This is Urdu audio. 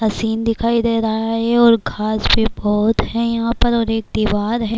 سین دکھائی دے رہا ہے یہ اور گھاس کے پود ہیں اور ایک بیمار ہے-